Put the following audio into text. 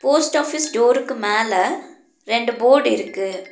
Post office டோருக்கு மேல ரெண்டு போர்டிருக்கு .